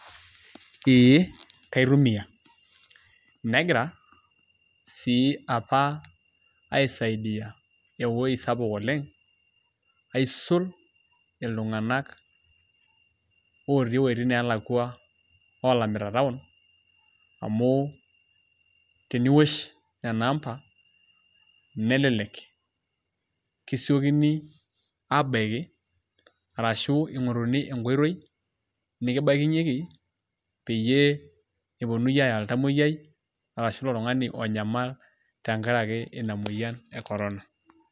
Ee kaitumia negira sii apa aisaidia ewoi sapuk oleng' aisul iltung'anak otii woitin neelakua oolamita taon amu teniwosh nena amba nelelek kisiokini aabaki arashu ing'oruni enkoitoi nekibakinyeki peyie eponunui aaya oltamueyiai arashu ilo tung'ani onyamal tenkaraki ina mueyian e korona.